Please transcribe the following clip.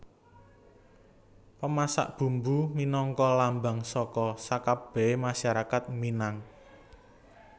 Pemasak Bumbu minangka lambang saka sakabèhé masyarakat Minang